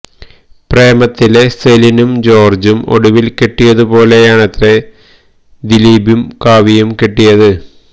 പ്രേമത്തിലെ സെലിനും ജോര്ജ്ജും ഒടുവില് കെട്ടിയതു പോലെയാണത്രേ ദിലീപും കാവ്യയും കെട്ടിയത്